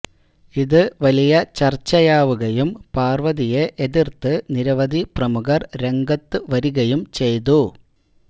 ഇത് വലിയ ചർച്ചയാവുകയും പാർവതിയെ എതിർത്ത് നിരവധി പ്രമുഖർ രംഗത്തുവരികയും ചെയ്തു